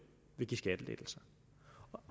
vil give skattelettelser